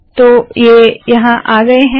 तो ये यहाँ आ गए है